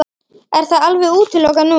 Er það alveg útilokað núna?